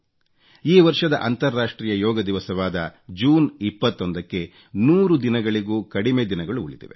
ಈ ವರ್ಷದ ಅಂತರ್ರಾಷ್ಟ್ರೀಯ ಯೋಗ ದಿವಸವಾದ ಜೂನ್ 21 ಕ್ಕೆ 100 ದಿನಗಳಿಗೂ ಕಡಿಮೆ ದಿನಗಳು ಉಳಿದಿವೆ